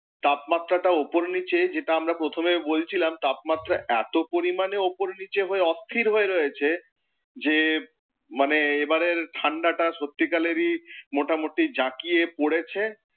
তাপমাত্রাটা ওপর নিচে যেটা আমরা প্রথমে বলছিলাম, তাপমাত্রা এতো পরিমাণে ওপর নিচে হয়ে অস্থির হয়ে রয়েছে, যে মানে এবারের ঠাণ্ডাটা সত্যিকালেরই মোটামুটি জাঁকিয়ে পড়েছে।